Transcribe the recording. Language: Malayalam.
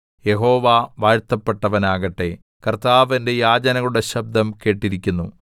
യഹോവ വാഴ്ത്തപ്പെട്ടവനാകട്ടെ കർത്താവ് എന്റെ യാചനകളുടെ ശബ്ദം കേട്ടിരിക്കുന്നു